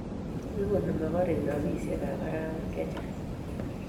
igoni mogorek robishekab arawet chechang